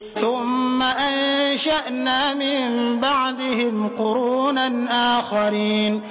ثُمَّ أَنشَأْنَا مِن بَعْدِهِمْ قُرُونًا آخَرِينَ